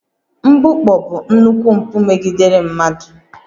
Mgbukpọ bụ nnukwu mpụ megidere mmadụ